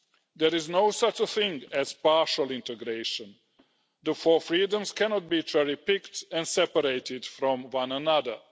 There is no such thing as partial integration. The four freedoms cannot be cherry picked and separated from one another.